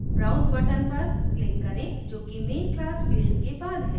browse button पर click करें जो कि main class field के बाद है